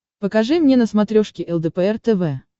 покажи мне на смотрешке лдпр тв